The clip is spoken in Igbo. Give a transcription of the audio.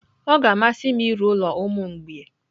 Ọ ga-amasị m ịrụ ụlọ ụmụ mgbei.